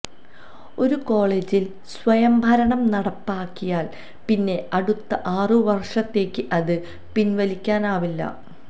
ഒരു കോളേജില് സ്വയംഭരണം നടപ്പാക്കിയാല് പിന്നെ അടുത്ത ആറു വര്ഷത്തേക്ക് അത് പിന്വലിക്കാനാവില്ല